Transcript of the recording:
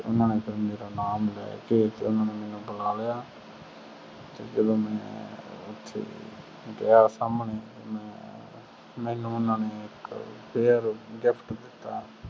ਓਨਾ ਨੇ ਫਿਰ ਮੇਰਾ ਨਾਮੁ ਲੈ ਕੇ ਫੇਰ ਮੇਨੂ ਬੁਲਾ ਲਿਆ ਜਦੋ ਮੈਂ ਓਥੇ ਗਿਆ ਸਾਮਣੇ ਮੇਨੂ ਓਹਨਾ ਨੇ ਇਕ pair gift ਦਿਤਾ